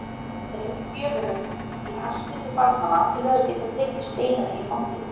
Hann dreifði gjöfunum í hasti til barnanna til þess að geta tekið Steinunni í fangið.